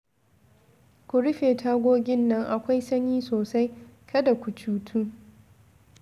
Ku rufe tagogin nan akwai sanyi sosaI, kada ku cutu